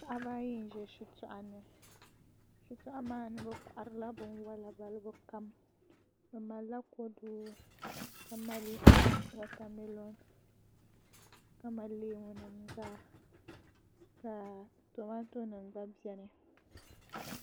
Paɣaba ayi n ʒɛ shitoɣu ni shitoɣu maa ni bi koharila binwola balibu kam bi malila kodu ka mali wotamilo ka mali leemu nim zaa ka tomato nim gba biɛni